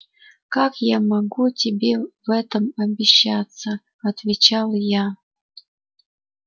как я могу тебе в этом обещаться отвечал я